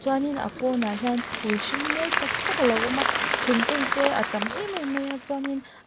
chuanin a pawnah hian phul hring mawi tak tak a lo awma thingkung te a tam em em maia chuanin--